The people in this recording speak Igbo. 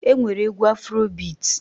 E nwere egwu Afuro bit.